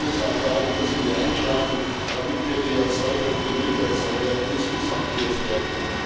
Hier, Herr Kommissar Dalli, müssen wir einschreiten, damit wir die Erzeuger und die Milcherzeuger insgesamt stärken.